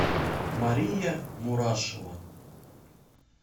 мария мурашева